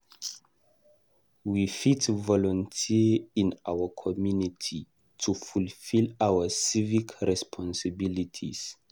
We fit volunteer in our community to fulfill our civic responsibilities.